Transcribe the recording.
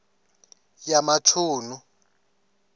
yamachunu